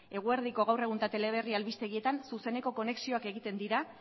eguerdiko gaur egun eta teleberri albistegietan zuzeneko konexioak egiten dira